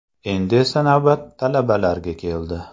Endi esa navbat talabalarga keldi.